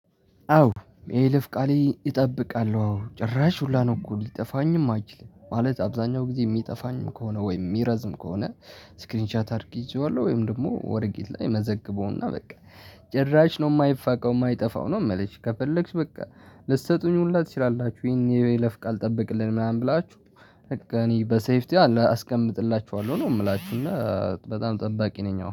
አዎ የይለፍ ቃሌ እጠብቃለሁ። አዎ ጭራሽ ሁላ ነው እኮ ሊጠፋኝም አይችልም። ማለት አብዛኛው ጊዜ የሚጠፋኝም ከሆነ ወይም የሚረዝም ከሆነ። ስክሪን ሻት አድርጌ እይዘዋለሁ ወይም ደግሞ ወረቀት ላይ መዘግበውና በቃ። ጭራሽ ነው የማይፋቀው የማይጠፋው ነው። የምልሽ ከፈለግሽ በቃ ልትሰጡኝ ሁላ ትችላላችሁ። ይሄን የይለፍ ቃል ጠበቅልን ምናምን ብላችሁ በቃ እኔ በሴፍቲ ያው አስቀምጥላችኋለሁ ነው የምላችሁ። እና በጣም ጠባቂ ነኝ። አዎ